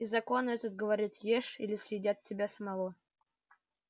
и закон этот говорил ешь или съедят тебя самого